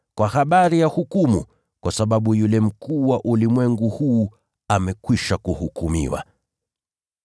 kwa habari ya hukumu, kwa sababu yule mkuu wa ulimwengu huu amekwisha kuhukumiwa.